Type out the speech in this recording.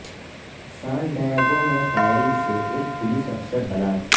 سان ڈیاگو میں فائرنگ سے ایک پولیس افسر ہلاک